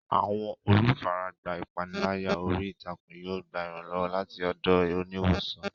Àwọn olùfaragbá ìpániláyà orí ìtàkùn yóò gba ìrànlọ́wọ́ láti ọ̀dọ̀ oníwòsàn.